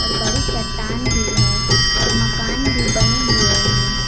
और बड़ी चट्टान भी है और मकान भी बने हुए हैं।